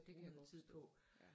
Det kan jeg godt forstå ja